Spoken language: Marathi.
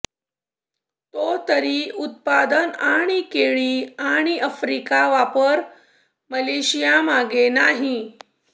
तो तरी उत्पादन आणि केळी आणि आफ्रिका वापर मलेशिया मागे नाही